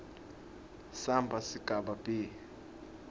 samba sigaba b